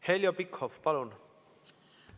Heljo Pikhof, palun!